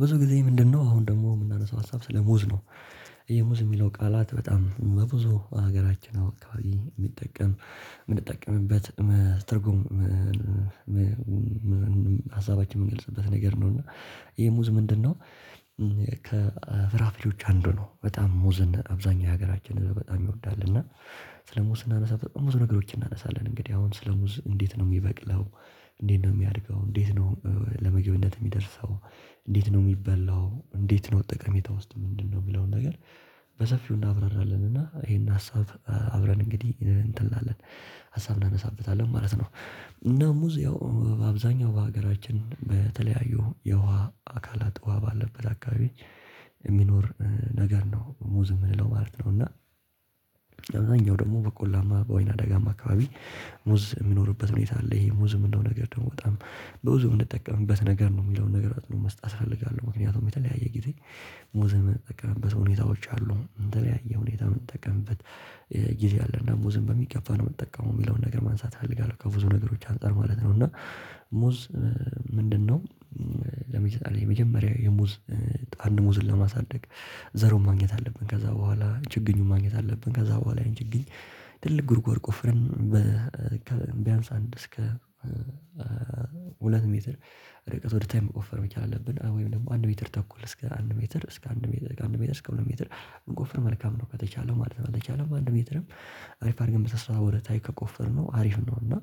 ብዙ ጊዜ ምንድነው? አሁን ደግሞ የምናነሳው ሀሳብ ስለሙዝ ነው። የሙዝ ሚለው ቃላት በጣም በብዙ ሀገራችን አከባቢ ሚጠቀም የምንጠቀምበት ትርጉም። ሀሳባችን የምንገልጽበት ነገር ነው እና ይሄ ሙዝ ምንድነው? ከፍራፍሬዎች አንዱ ነው። በጣም ሙዝን አብዛኛው የሀገራችን በጣም ይወዳል እና ስለሙዝ ስናነሳ በጣምብዙ ነገሮችን እናነሳለን። እንግዲህ አሁን ስለሙዝ እንዴት ነው ሚበቅለው? እንዴት ነው ሚያድገው? እንዴት ነው ለምግብነት ሚደርሰው? እንዴት ነው ሚበላው? እንዴት ነው ጠቀሜታ ውስጥ ምንድነው የሚለውን ነገር። በሰፊው እናብራራለን። እና ይሄን ሀሳብ አብረን እንግዲህ እንትን እንላለን ሀሳብ እናነሳበታለን ማለት ነው። እና ሙዝ ያው አብዛኛው በሀገራችን በተለያዩ የውሃ አካላት ውሃ ባለበት አካባቢ ሚኖር ነገር ነው። ሙዝ ምንለው ማለት ነው። እና ደግሞ በቆላማ በወይና ደጋማ አካባቢ ሙዝ የሚኖርበት ሁኔታ አለ። ይሄ ሙዝ የምንለው ነገር ነው በጣም በብዙ የምንጠቀምበት ነገር ነው የሚለውን ነገር አጽንኦት መስጠት እፈልጋለሁ። ምክንያቱም የተለያየ ጊዜ ሙዝን የምንጠቀምበት ሁኔታዎች አሉ። በተለያየ ሁኔታ ምንጠቀምበት ጊዜ አለ። ሙዝን በሚገባ ነው የምትጠቀመው የሚለውን ነገር ማንሳት እፈልጋለሁ። ከብዙ ነገሮች አንፃር ማለት ነው እና ሙዝ ምንድነው? ለምን ይሰጣል የመጀመሪያ የሙዝ አንድ ሙዝን ለማሳደግ ዘሩን ማግኘት አለብን ከዛ በኋላ ችግኙን ማግኘት አለብን። ከዛ በኋላ ያን ችግኝ ትልቅ ጉድጓድ ቆፍርን በቢያንስ አንድ እስከ ሜትር ርቀት ወደ ታች መቆፈር መቻል አለብን። ወይም ደግሞ አንድ ሜትር ተኩል እስከ አንድ ሜትር እስከ አንድ ሜትር ከአንድ ሜትር እስከ ሁለት ሜትር ብንቆፍር መልካም ነው። ከተቻለ ማለት ነው። ካልተቻለም አንድ ሜትርም አሪፍ አድርገን በስነ-ስርዓት ወደ ታች ከቆፈርነው አሪፍ ነው። እና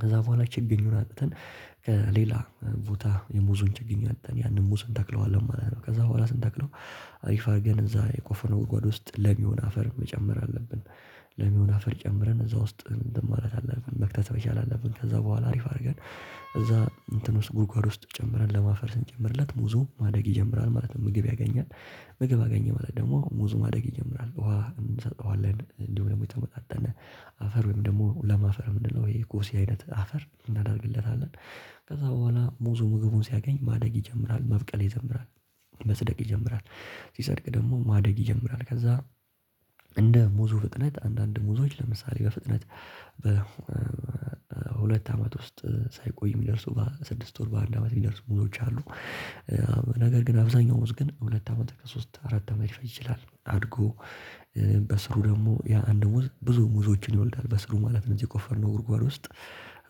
ከዛ በኋላ ችግኝ አምጥተን ከሌላ ቦታ የሙዙን ችግኝ አውጥተን ያንን ሙዝ እንተክለዋለን ማለት ነው። ከዛ በኋላ ስንተክለው አሪፍ አድርገን እዛ የቆፈነው ጓድጓድ ውስጥ ለም የሆነ አፈር መጨመር አለብን። ለም የሆነ አፈር ጨምረን እዛ ውስጥ እንትን ማለት አለብን መክተት መቻል አለብን። ከዛ በኋላ አሪፍ አርገን እዛ እንትን ውስጥ ጉድጓድ ውስጥ ጨምረን ለም አፈር ስንጨምርለት ሙዙ ማደግ ይጀምራል ማለት ነው። ምግብ ያገኛል። ምግብ አገኘ ማለት ደግሞ ሙዙ ማደግ ይጀምራል ውሃ እንሰጠዋለን እንዲሁም ደግሞ የተመጣጠነ አፈር ወይም ደግሞ ለም አፈር ምንለው ይሄ እኮ ጎሲ አይነት አፈር እናደርግለታለን። ከዛ በኋላ ሙዙ ምግቡን ሲያገኝ ማደግ ይጀምራል መብቀል ይጀምራል። መጽደቅ ይጀምራል። ሲጸድቅ ደግሞ ማደግ ይጀምራል። ከዛ እንደ ሙዙ ፍጥነት አንዳንድ ሙዞች ለምሳሌ በፍጥነት በሁለት አመት ውስጥ ሳይቆይ የሚደርሱ በስድስት ወር በአንድ አመት የሚደርሱ ሙዞች አሉ። ነገር ግን አብዛኛው ሙዝ ግን ሁለት አመት ወይ ከሶስት አራት አመት ሊፈጅ ይችላል። አድጎ በስሩ ደግሞ ያ አንድ ሙዝ ብዙ ሙዞችን ይወልዳል በስሩ ማለት ነው። እዚህ የቆፈርነው ጉድጓድ ውስጥ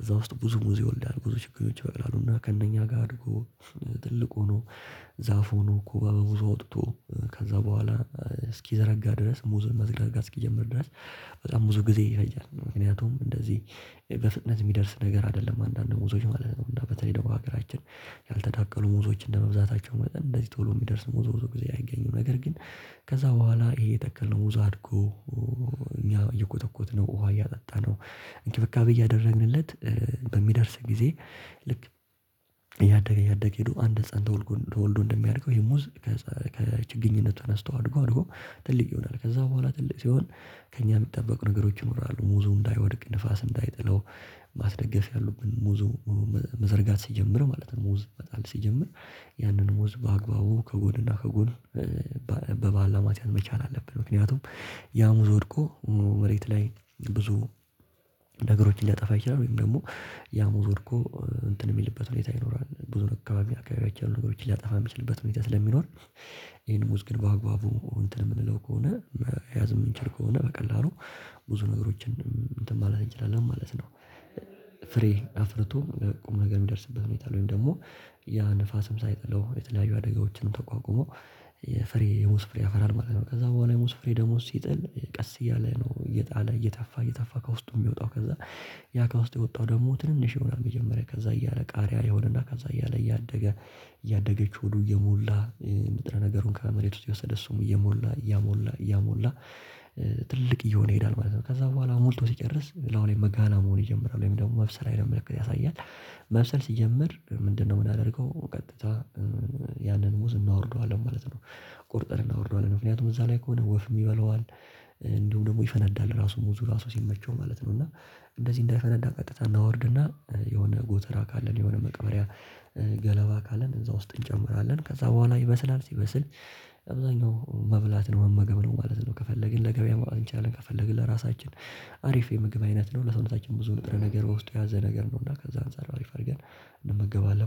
እዛ ውስጥ ብዙ ሙዝ ይወልዳል። ብዙ ችግኞች ይበቅላሉና ከእነኛ ጋር አድጎ ትልቅ ሆኖ ዛፍ ሆኖ ኮባ በኮባ አውጥቶ ብዙ አወጥቶ ከዛ በኋላ እስኪዘረጋ ድረስ ሙዝን መዘጋጋት እስከሚጀምር ድረስ በጣም ብዙ ጊዜ ይፈጃል። ምክንያቱም እንደዚህ በፍጥነት የሚደርስ ነገር አይደለም። አንዳንድ ሙዞች ማለት ነው እና በተለይ ደግሞ ሀገራችን ያልተዳቀሉ ሙዞች እንደመብዛታቸው መጠን እንደዚህ ቶሎ የሚደርስ ሙዝ ብዙ ጊዜ አይገኝም። ነገር ግን ከዛ በኋላ ይሄ የተከለው ሙዝ አድጎ እኛ እየኮተኮትነው ውሃ እያጠጣነው እንክብካቤ እያደረግንለት በሚደርስ ጊዜ። ልክ እያደገ እያደገ ሄዶ አንድ ህፃን ተወልዶ እንደሚያድገው ይሄ ሙዝ ከችግኝነቱ ተነስቶ አድጎ አድጎ ትልቅ ይሆናል። ከዛ በኋላ ትልቅ ሲሆን ከእኛ የሚጠበቁ ነገሮች ይኖራሉ። ሙዙ እንዳይወድቅ ንፋስ እንዳይጥለው ማስደገፍ ያሉብን ሙዙ መዘርጋት ሲጀምር ማለት ነው። ሙዝ መጣል ሲጀምር ያንን ሙዝ በአግባቡ ከጎንና ከጎን በባላ ማስያዝ መቻል አለብን። ምክንያቱም ያሙዝ ወድቆ መሬት ላይ ብዙ ነገሮችን ሊያጠፋ ይችላል። ወይም ደግሞ ያ ሙዝ ወድቆ እንትን የሚልበት ሁኔታ ይኖራል። ብዙ ነገር አካባቢ አካባቢያችን ያሉ ነገሮችን ሊያጠፋ የሚችልበት ሁኔታ ስለሚኖር። ይሄን ሙዝ ግን በአግባቡ እንትን የምንለው ከሆነ መያዝ የምንቸል ከሆነ በቀላሉ ብዙ ነገሮችን እንትን ማለት እንችላለን ማለት ነው። ፍሬ አፍርቶ ነገ የሚደርስበት ሁኔታ አለ። ወይም ደግሞ ያ ንፋስም ሳይጥለው የተለያዩ አደጋዎችንም ተቋቁሞ የፍሬ የሙዝ ፍሬ ያፈራል ማለት ነው። ከዛ በኋላ የሙዝ ፍሬ ደግሞ ሲጥል ቀስ እያለ ነው እየጣለ እየተፋ እየተፋ ከውስጡ የሚወጣው ከዛ ያ ከውስጥ የወጣው ደግሞ ትንንሽ ይሆናል መጀመሪያ ከዛ እያለ ቃሪያ የሆነና ከዛ እያለ እያደገ እያደገች ሆዱ እየሞላ ንጥረ-ነገሩን ከመሬት ውስጥ እየወሰደ እሱም እየሞላ እያሞላ እያሞላ ትልቅ እየሆነ ይሄዳል ማለት ነው። ከዛ በኋላ ሞልቶ ሲጨርስ ለአሁን የመጋና መሆን ይጀምራል ወይም ደግሞ መብሰል አይነት ምልክት ያሳያል። መብሰል ሲጀምር ምንድነው? ምናደርገው ቀጥታ ያንን ሙዝ እናወርደዋለን ማለት ነው። ቆርጠን እናወርደዋለን ምክንያቱም እዛ ላይ ከሆነ ወፍም ይበላዋል። እንዲሁም ደግሞ ይፈነዳል ራሱ ሙዙ ራሱ ሲመቸው ማለት ነው። እና እንደዚህ እንዳይፈነዳ ቀጥታ እናወርድና የሆነ ጎተራ ካለን የሆነ መቅበሪያ ገለባ ካለን እዛ ውስጥ እንጨምራለን ከዛ በኋላ ይበስላል። ሲበስል አብዛኛው መብላት ነው መመገብ ነው ማለት ነው። ከፈለግን ለገበያ ማወጣት እንችላለን ከፈለግን ለራሳችን አሪፍ የምግብ አይነት ነው። ለሰውነታችን ብዙ ንጥረ-ነገር በውስጥ የያዘ ነገር ነው። እና ከዛ አንፃር አሪፍ አድርገን እንመገባለን